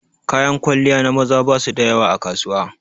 Kayan kwalliya na maza ba su da yawa a kasuwa.